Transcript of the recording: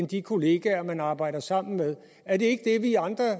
de kolleger man arbejder sammen med er det ikke det vi i andre